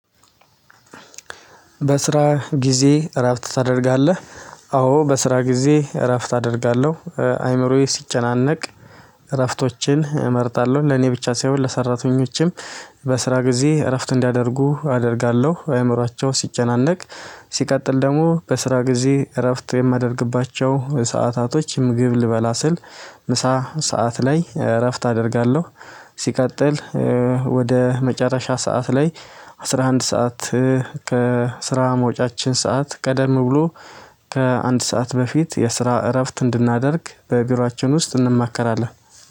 በስራ ጊዜ እረፍት ታደርጋለህ? አዎ በስራ ጊዜ እረፍት አደርጋለሁ አእምሮዬ ሲጨናነቅ እረፍቶችን እመርጣለሁ ለእኔ ብቻ ሳይሆን ለሰራተኞችም። በስራ ጊዜ እረፍት እንዲያደርጉ አደርጋለሁ አእምሮአቸው ሲጨናነቅ። ሲቀጥል ደግሞ በስራ ጊዜ እረፍት የማደርግባቸው ሰዓታቶች ምግብ ልበላ ስል ምሳ ሰዓት ላይ እረፍት አደርጋለሁ። ሲቀጥል ወደ መጨረሻ ሰዓት ላይ አስራ አንድ ሰዓት ከስራ መውጫችን ሰዓት ቀደም ብሎ ከአንድ ሰዓት በፊት የስራ እረፍት እንድናደርግ በቢሮአችን ውስጥ እንማከራለን